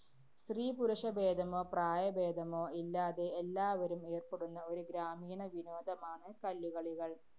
സ്ത്രീ-പുരുഷ ഭേദമോ പ്രായഭേദമോ ഇല്ലാതെ എല്ലാവരും ഏര്‍പ്പെടുന്ന ഒരു ഗ്രാമീണ വിനോദമാണ് കല്ലുകളികള്‍.